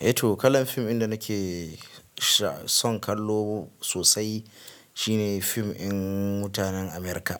Eh to kalan fim ɗin da nake son kallo sosai shine fim ɗin Mutanen America